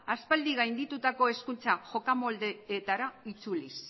aspaldi gainditutako hezkuntza jokamoldeetara itzuliz